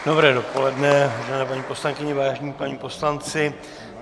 Dobré dopoledne, vážené paní poslankyně, vážení páni poslanci.